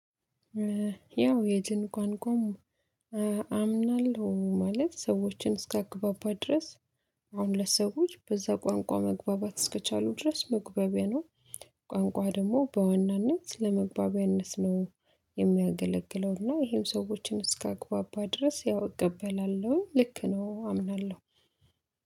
ያው የድንኳን ቋሚ አምናለሁ ማለት ሰዎችን እስከ አግባባ ድረስ። አሁን ለሰዎች በዛ ቋንቋ መግባባት እስከቻሉ ድረስ መግባቢያ ነው። ቋንቋ ደግሞ በዋናነት ለመግባቢያነስ ነው የሚያገለግለው። እና ይሄም ሰዎችን እስከ አግባባ ድረስ ያው እቀበላለሁ ልክ ነው አምናለሁ።